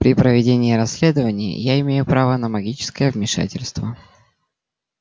при проведении расследования я имею право на магическое вмешательство